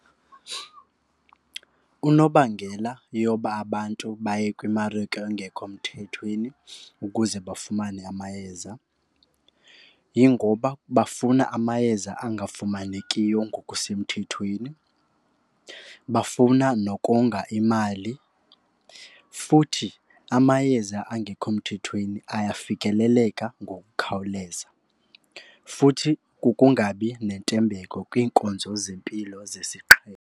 Unobangela yoba abantu baye kwimarike engekho mthethweni ukuze bafumane amayeza yingoba bafuna amayeza angafumanekiyo ngokusemthethweni. Bafuna nokonga imali. Futhi amayeza angekho mthethweni ayafikeleleka ngokukhawuleza. Futhi kukungabi nentembeko kwiinkonzo zempilo zesiqhelo.